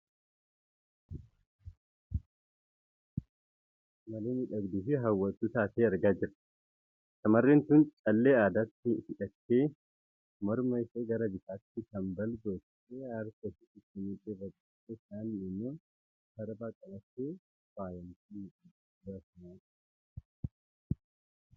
Suurri shamarree magaala akka malee miidhagduu fi hawwattuu taateen argaa jira. Shamarreen tun callee addatti hidhattee morma ishee gara bitaatti kambal gootee harka ishee tokko mudhii irra godhattee kaaniin immoo sarbaa qabattee faayamtee miidhagdee suura ka'aa jirti. Uggum!